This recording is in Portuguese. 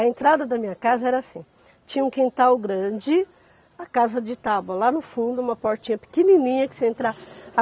A entrada da minha casa era assim, tinha um quintal grande, a casa de tábua lá no fundo, uma portinha pequenininha que você entrava.